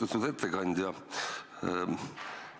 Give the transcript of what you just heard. Austatud ettekandja!